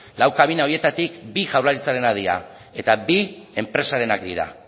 lau kabina horietatik bi jaurlaritzarenak dira eta bi enpresarenak dira